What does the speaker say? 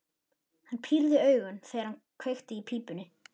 Hann pírði augun, þegar hann kveikti í pípunni.